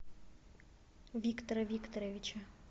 виктора викторовича